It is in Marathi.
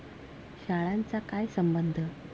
शाळांचा काय संबंध?